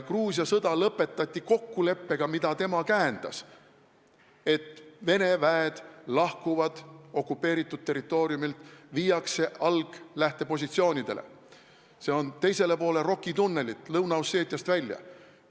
Gruusia sõda lõpetati kokkuleppega, mida tema käendas, et Vene väed lahkuvad okupeeritud territooriumilt, viiakse lähtepositsioonidele, s-o teisele poole Roki tunnelit, Lõuna-Osseetiast välja.